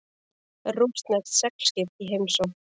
Rússneskt seglskip í heimsókn